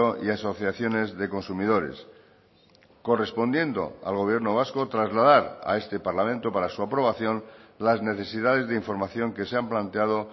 y asociaciones de consumidores correspondiendo al gobierno vasco trasladar a este parlamento para su aprobación las necesidades de información que se han planteado